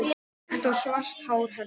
Þykkt og svart hár hennar.